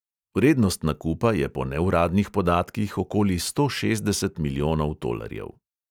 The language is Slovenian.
Vrednost nakupa je po neuradnih podatkih okoli sto šestdeset milijonov tolarjev.